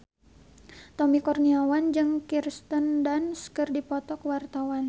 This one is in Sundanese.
Tommy Kurniawan jeung Kirsten Dunst keur dipoto ku wartawan